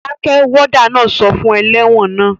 Dákẹ́! Wádà náà sọ fún ẹlẹ́wọ̀n naa